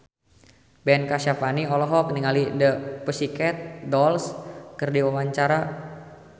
Ben Kasyafani olohok ningali The Pussycat Dolls keur diwawancara